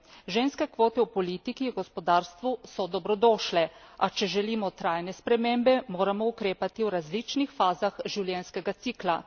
Ženske kvote v politiki, gospodarstvu so dobrodošle, a če želimo trajne spremembe, moramo ukrepati v različnih fazah življenjskega cikla.